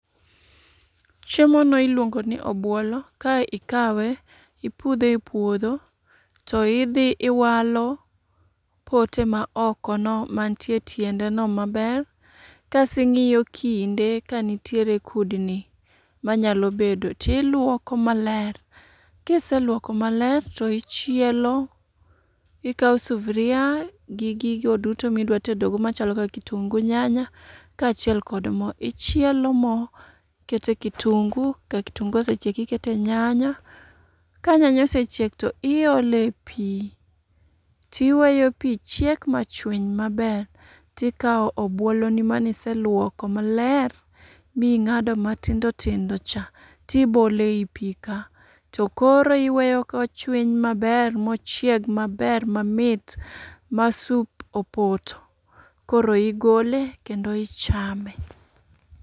Chiemo no iluongo ni obuolo, ka ikawe ipudhe e puodho to idhi iwalo pote ma oko no mantie e tiende no maber. Kasing'iyo kinde ka nitiere kudni manyalo bedo, tiluoko maler. Kiseluoko maler to ichielo, ikawo sufria gi gigo duto midwa tedo go machalo kaka kitungu, nyanya, kaachiel kod mo. Ichielo mo, ikete kitungu, ka kitungu osechiek ikete nyanya. Ka nyanya osechiek to iole pi tiweyo pi chiek ma chwiny maber, tikawo obuolo ni miseluoko maler ming'ado matindo tindo cha, tibole i pi ka. To koro iweyo ka ochwiny maber mochieg maber mamit ma sup opoto, koro igole kendo ichame.